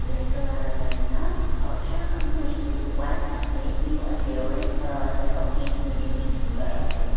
black colour lagai ke na aru chair khan tu hoise koi le tu white ase blue ase red colour ase aru gate toh hoise koiley blue colour ase.